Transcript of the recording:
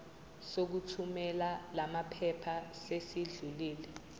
sokuthumela lamaphepha sesidlulile